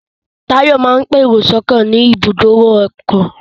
Táyọ̀ máa ń pèrò sọ́kọ̀ ní ibùdó ọkọ̀